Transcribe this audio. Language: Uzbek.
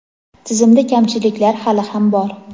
Tizimda kamchiliklar hali ham bor.